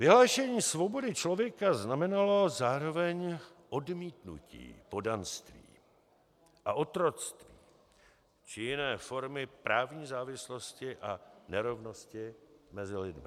Vyhlášení svobody člověka znamenalo zároveň odmítnutí poddanství a otroctví či jiné formy právní závislosti a nerovnosti mezi lidmi.